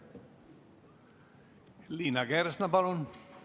Liina Kersna, palun!